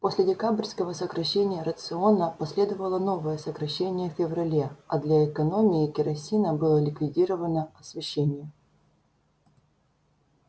после декабрьского сокращения рациона последовало новое сокращение в феврале а для экономии керосина было ликвидировано освещение